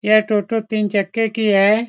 यह टोटो तीन चक्के की है।